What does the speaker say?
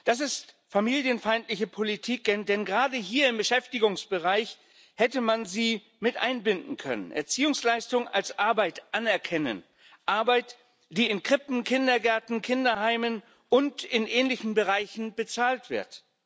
Das ist familienfeindliche Politik, denn gerade hier im Beschäftigungsbereich hätte man sie mit einbinden können. Erziehungsleistung als Arbeit anerkennen Arbeit, die in Krippen, Kindergärten, Kinderheimen und in ähnlichen Bereichen bezahlt wird